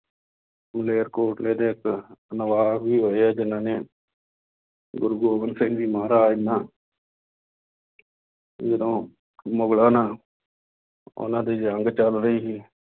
ਮਲੇਰਕੋਟਲੇ ਦੇ ਇੱਕ ਨਵਾਬ ਵੀ ਹੋਏ ਆ ਜਿੰਨ੍ਹਾ ਨੇ ਗੁਰੂ ਗੋਬਿੰਦ ਸਿੰਘ ਜੀ ਮਹਾਰਾਜ ਨਾਲ ਜਦੋਂ ਮੁਗਲਾਂ ਨਾਲ ਉਹਨਾ ਦੀ ਜੰਗ ਚੱਲ ਰਹੀ ਸੀ